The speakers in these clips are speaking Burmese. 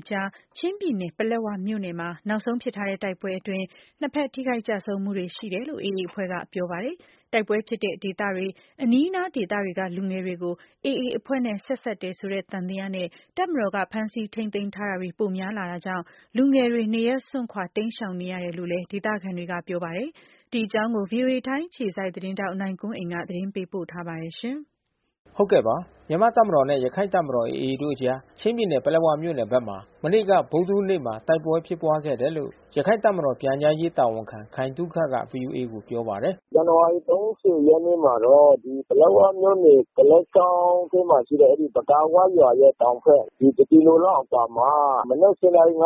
အကြား ချင်းပြည်နယ်၊ ပလက်ဝမြို့နယ်မှာ နောက်ဆုံးဖြစ်ထားတဲ့ တိုက်ပွဲအတွင်း နှစ်ဘက် ထိခိုက်ကျဆုံး တယ်လို့ AA အဖွဲ့ကပြောပါတယ်။ တိုက်ပွဲဖြစ်တဲ့ဒေသတွေ၊ အနီးအနားတွေက လူငယ်တွေကို AA အဖွဲ့နဲ့ ဆက်စပ်တယ် ဆိုတဲ့သံသယနဲ့ တပ်မတော်က ဖမ်းဆီး ထိန်းသိမ်းတာတွေ ပိုများလာတာကြောင့် လူငယ်တွေ နေရပ်စွန့်ခွာ တိမ်းရှောင်နေရ တယ်လို့လည်း ဒေသခံတွေက ပြောပါတယ်။ ဒီအကြောင်း ဗွီအိုအေ ထိုင်းအခြေစိုက်သတင်းထောက် နိုင်ကွန်းအိန်က သတင်းပေးပို့ထားပါတယ်။ မြန်မာ့တပ်မတော်နဲ့ ရခိုင်တပ်မတော် AA တို့အကြားချင်းပြည်နယ်ပလက်ဝမြို့နယ်ဘက်မှာ မနေ့ကဗုဒ္ဓဟူးနေ့မှာ တိုက်ပွဲဖြစ်ပွါးခဲ့တယ်လို့ရခိုင့်တပ်မတော်ပြန်ကြားရေးတာဝန်ခံခိုင်သုခကဗွီအိုအေကိုပြောပါတယ်။ “ဇန္နာဝါရီ ရက်နေ့မှာတော့ ပလက်ဝမြို့နယ် ဒလက်ချောင်းအတွင်းမှာရှိတဲ့အဲဒီပကာဝရွာရဲ့တောင်ဖက် တကီလို လောက်အကွာမှာမနက် နာရီ က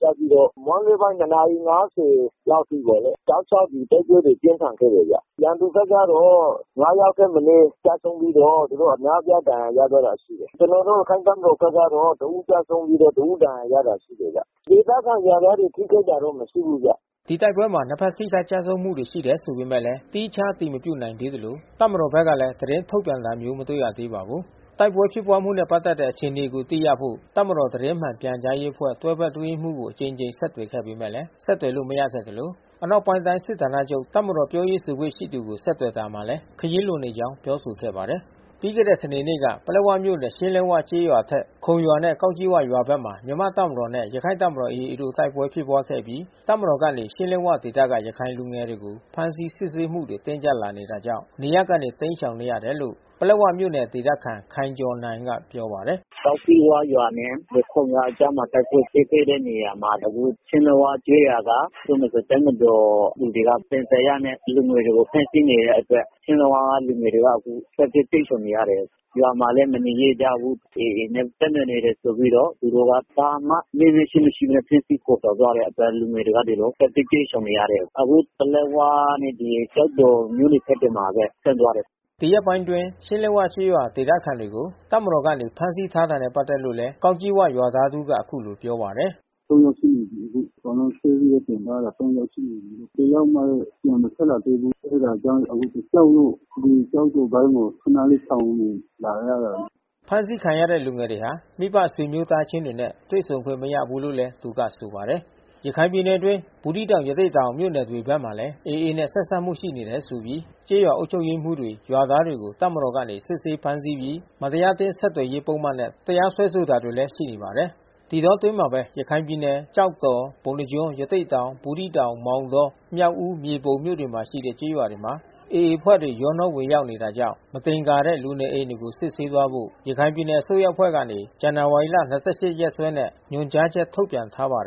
စပြီးတော့မွန်းလွှဲပိုင်း နာရီ လောက်အထိပေါ့လေ။တောက်လျှောက် တိုက်ပွဲတွေပြင်းထန်ခဲ့တယ်ဗျ။ ရန်သူဖက်ကတော့ ယောက်ထက်မနဲ ကျဆုံးပြီးတော့ သူတို့အများအပြားဒဏ်ရာ ရခဲ့တာရှိတယ်။ ကျွန်တော်တို့ရခိုင့်တပ်မတော်ဖက်ကတော့ တဦးကျဆုံးပြီးတဦးဒဏ်ရာရခဲ့တာရှိတယ်ဗျ။ ဒေသခံရွာ သားတွေထိခိုက်တာတော့မရှိဘူးဗျ။” အဲဒီတိုက်ပွဲမှာ နှစ်ဖက်ထိခိုက်ကျဆုံးမှုရှိတယ်ဆိုပေမဲ့ သီးခြားအတည်မပြုနိုင်သေး သလို တပ်မတော်ဖက်ကလဲသတင်းထုတ်ပြန်တာမျိုးမတွေ့ရသေးပါဘူး။ တိုက်ပွဲဖြစ်ပွါးမှုနဲ့ပတ်သက်တဲ့ အခြေအနေကိုသိရဖို့ တပ်မတော်သတင်းမှန်ပြန်ကြားရေးအဖွဲ့ တွဲဘက် အတွင်း ရေးမှူးကိုအကြိမ်ကြိမ်ဆက်သွယ်ခဲ့ပေမဲ့ဆက်သွယ်လို့မရခဲ့သလို အနောက်ပိုင်းတိုင်းစစ်ဌာနချုပ်တပ်မတော် ပြောရေးဆိုခွင့်ရှိသူကို ဆက်သွယ်တာမှာလည်း ခရီးလွန်နေကြောင်းပြောဆိုခဲ့ပါတယ်။ ပြီးခဲ့တဲ့စနေနေ့က ပလက်ဝမြို့နယ် ရှင်းလက်ဝကျေးရွာအထက် ခုံရွာနဲ့ကောက်ကြီးဝရွာဘက်မှာ မြန်မာ့တပ်မတော်နဲ့ ရခိုင်တပ်မတော်AAတို့တိုက်ပွဲဖြစ်ပွါးခဲ့အပြီး တပ်မတော်ကနေ ရှင်းလက်ဝဒေသကရခိုင်လူငယ်တွေကို ဖမ်းဆီးစစ်ဆေးမှုတွေ တင်းကြပ်လာတာကြောင့် နေရပ်ကနေတိမ်းရှောင်နေရတယ်လို့ ပလက်ဝမြို့နယ်ဒေသခံ ခိုင်ကျော်နိုင်ကပြောပါတယ်။ “ကောက်ကြီးဝရွာနဲ့ ခုံရွာအကြားမှာ တိုက်ပွဲဖြစ်ခဲ့တဲ့နေရာမှာ အခုချင်းလက်ဝကျေးရွာက တပ်မတော်လူတွေက သံသယနဲ့ လူငယ်တွေကိုဖမ်းဆီးနေတဲ့အတွက် ရှင်းလက်ဝလူငယ်တွေကအခုထွက်ပြေးတိမ်းရှောင်နေရတယ်။ ရွာမှာလဲမနေရဲကြဘူး။ AAနဲ့ဆက်နွယ်နေတယ်ဆိုပြီးတော့ သူတို့က ဘာမှမေးမြန်းခြင်းမရှိဘဲနဲ့ ဖမ်းဆီးခေါ်ဆောင်သွား တဲ့အတွက် လူငယ်တွေကဒီလိုထွက်ပြေးတိမ်းရှောင်နေရတယ်။ အခုဒီပလက်ဝနဲ့ကျောက်တော်မြို့နယ်ဖက်တွေမှာဘဲ ဆင်းသွားတယ်။” ဒီရက်ပိုင်းအတွင်း ရှင်းလက်ဝကျေးရွာေ ဒသခံတွေကို တပ်မတော်ကနေဖမ်းဆီးထားတာနဲ့ ပတ်သက်လို့လည်း ကောက်ကြီး၀ ရွာသားတဦးက ပြောပါတယ်။ ယောက်ရှိနေပြီးအခု။ အကုန်လုံးဆွဲပြီးတင်ထားတာ ယောက်ရှိနေပြီး။ တယောက်မှတော့ပြန်မထွက်လာသေးဘူး။ အဲတာကြောင့်အခုကြောက်လို့ အခုကျောက်တော်ပိုင်းကို ခနလေးရှောင်နေလာရတာ။” ဖမ်းဆီးခံရတဲ့လူငယ်တွေဟာ မိဘဆွေမျိုးသားချင်းတွေနဲ့တွေ့ဆုံခွင့်မရဘူးလို့လည်း သူကဆိုပါတယ်။ ရခိုင်ပြည်နယ်အတွင်း ဘူးသီးတောင် ရသေ့တောင်မြို့နယ်တွေဘက်မှာလဲ AA နဲ့ဆက်စပ်မှုရှိနေတယ်ဆိုပြီး ကျေးရွာအုပ်ချုပ် ရေးမှူးတွေ ရွာသားတွေကို တပ်မတော်ကနေ စစ်ဆေးဖမ်းဆီးပြီး မတရားအသင်း ဆက်သွယ်မှုပုဒ်မနဲ့ တရားစွဲဆိုတာတွေ ရှိနေပါတယ်။ ဒီအတောအတွင်းမှာပဲ ရခိုင်ပြည်နယ် ကျောက်တော် ပုဏ္ဏားကျွန်း ရသေ့တောင် ဘူးသီးတောင် မောင်တော မြောက်ဦး မြေပုံမြို့နယ်တွေမှာရှိတဲ့ ကျေးရွာတွေမှာ AA အဖွဲ့တွေ ရောနှောဝင်ရောက်နေတာကြောင့် မသင်္ကာတဲ့ လူနေအိမ်တွေကို စစ်ဆေးသွားဖို့ ရခိုင်ပြည်နယ် အစိုးရအဖွဲ့ကနေ ဇန္နဝါရီလ ၂၈ ရက်စွဲနဲ့ ညွှန်ကြားချက်ထုတ်ပြန်ထား ပါတယ်